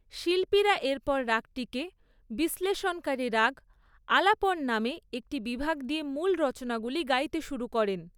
শিল্পীরা এরপর রাগটিকে বিশ্লেষণকারী রাগ আলাপন নামে একটি বিভাগ দিয়ে মূল রচনাগুলি গাইতে শুরু করেন।